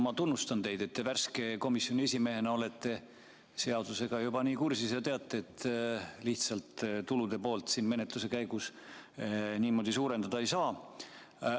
Ma tunnustan teid, et te värske komisjoni esimehena olete seadusega juba nii kursis ja teate, et lihtsalt tulude poolt siin menetluse käigus niimoodi suurendada ei saa.